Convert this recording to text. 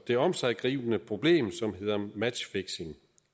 det omsiggribende problem som hedder matchfixing